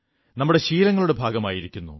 നമ്മുടെ ശീലങ്ങളുടെ ഭാഗമായിരിക്കുന്നു